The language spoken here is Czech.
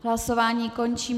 Hlasování končím.